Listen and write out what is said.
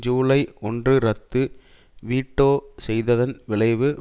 ஜூலை ஒன்று ரத்து வீட்டோ செய்ததன் விளைவு